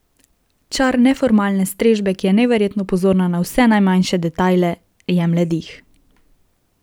Čar neformalne strežbe, ki je neverjetno pozorna na vse najmanjše detajle, jemlje dih.